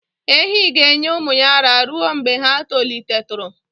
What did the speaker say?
Ehi ga-enye ụmụ ya ara ruo mgbe ha tolitetụrụ